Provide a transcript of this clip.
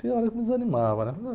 Tem hora que me desanimava, né?